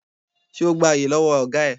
Ṣé o gba àyè lọ́wọ́ ọ̀gá ẹ?